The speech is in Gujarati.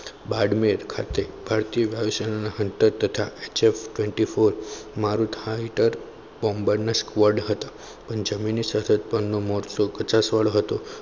બાડમેર ખાતે ભારતીય વિષયના hunter તથા check twenty four marook hitar burner squad હતો. પણ જમીનનો મહોત્સવ કચાસ વાળો હતો.